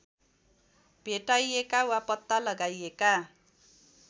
भेटाइएका वा पत्ता लगाइएका